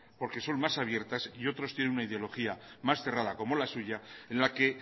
porque son más abiertas y otros tienen una ideología más cerrada como la suya en la que